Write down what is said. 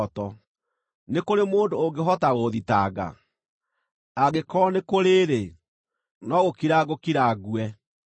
Nĩ kũrĩ mũndũ ũngĩhota gũũthitanga? Angĩkorwo nĩ kũrĩ-rĩ, no gũkira ngũkira ngue.